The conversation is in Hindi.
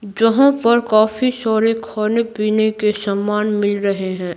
जहां पर काफी सारे खाने-पीने के सामान मिल रहे हैं।